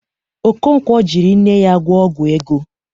Okonkwo jịrị nne ya gwọ ọgwọ ego.